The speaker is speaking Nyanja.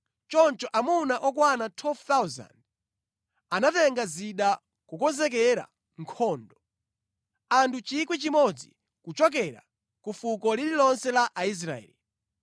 Choncho amuna okwana 12,000 anatenga zida kukonzekera nkhondo, anthu 1,000 kuchokera ku fuko lililonse la Aisraeli.